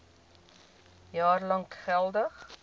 jaar lank geldig